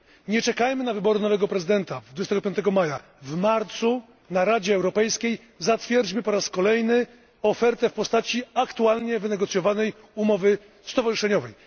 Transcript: Nie czekajmy na wybory nowego prezydenta 25 maja. W marcu na Radzie Europejskiej zatwierdźmy po raz kolejny ofertę w postaci aktualnie wynegocjowanej umowy stowarzyszeniowej.